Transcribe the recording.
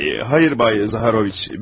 Hayır bay Zaharoviç, mən öyrənciyəm.